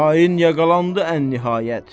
Xain yaqalandı ən-nihayət.